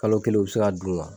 Kalo kelen u bɛ se ka dun